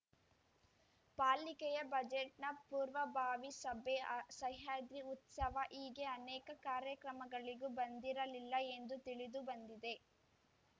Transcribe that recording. ಪಾಲಿಕೆಯ ಬಜೆಟ್‌ನ ಪೂರ್ವಭಾವಿ ಸಭೆ ಸಹ್ಯಾದ್ರಿ ಉತ್ಸವ ಹೀಗೆ ಅನೇಕ ಕಾರ್ಯಕ್ರಮಗಳಿಗೂ ಬಂದಿರಲಿಲ್ಲ ಎಂದು ತಿಳಿದು ಬಂದಿದೆ